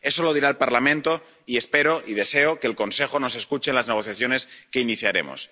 Eso lo dirá el Parlamento y espero y deseo que el Consejo nos escuche en las negociaciones que iniciaremos.